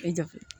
E jate